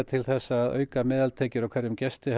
til þess að auka meðaltekjur af hverjum gesti